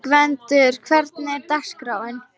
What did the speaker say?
Gvendur, hvernig er dagskráin?